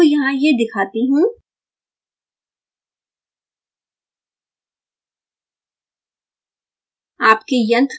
अब मैं आपको यहाँ यह दिखाती हूँ